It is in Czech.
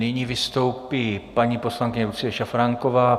Nyní vystoupí paní poslankyně Lucie Šafránková.